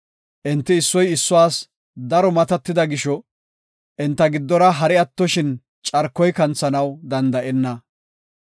Enti issoy issuwas daro matatida gisho, enta giddora hari attoshin carkoy kanthanaw danda7enna.